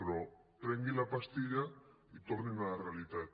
però prenguin la pastilla i tornin a la realitat